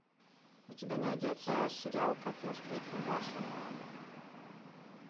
у тебя найдется сериал как я встретил вашу маму